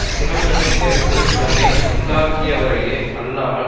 சினம் என்னும் நெருப்பு தன்னை உண்டாக்கியவரையே அல்லாமல்